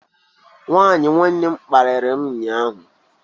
Nwunye nwanne m kparịrị m ụnyahụ